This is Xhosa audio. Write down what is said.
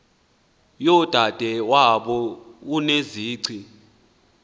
yodade wabo unozici